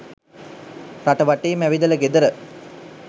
රට වටේම ඇවිදල ගෙදර